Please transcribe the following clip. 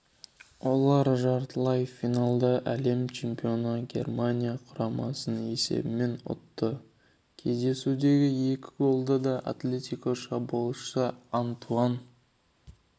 олар жартылай финалда әлем чемпионы германия құрамасын есебімен ұтты кездесудегі екі голды да атлетико шабуылшысы антуан